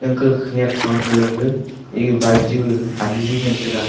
anka khanyak phang ka gag eg bike ju ani ngan taiga.